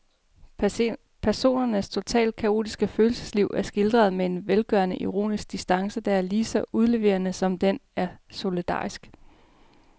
Personernes totalt kaotiske følelsesliv er skildret med en velgørende ironisk distance, der er ligeså udleverende som den er solidarisk.